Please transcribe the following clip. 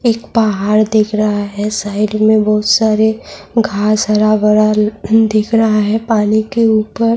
ایک پہاڑ دکھ رہا ہے سائیڈ میں بہت سارے گھاس ھرا بھرا دکھ رہا ہے پانی کے اوپر--